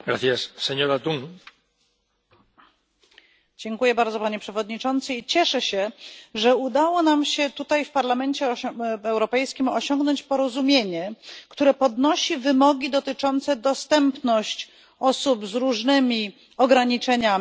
Dziękuję bardzo, Panie Przewodniczący, i cieszę się, że udało nam się tutaj, w Parlamencie Europejskim, osiągnąć porozumienie, które podnosi wymogi dotyczące dostępu osób z różnymi ograniczeniami do produktów i usług na naszym wspólnym rynku.